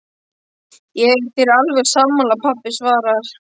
Ég er þér alveg sammála, pabbi svarar